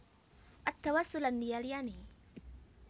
At Tawassul lan liya liyane